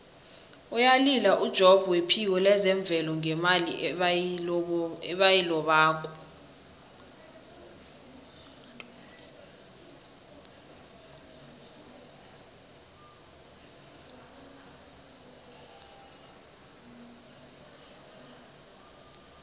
uyalila ujobb wephiko lezemvelo ngemali ebayilobako